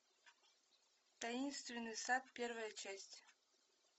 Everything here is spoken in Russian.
таинственный сад первая часть